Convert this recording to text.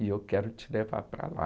E eu quero te levar para lá.